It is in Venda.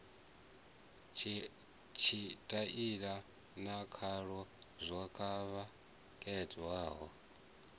tshitaila na khalo zwo khakheaho